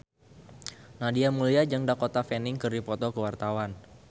Nadia Mulya jeung Dakota Fanning keur dipoto ku wartawan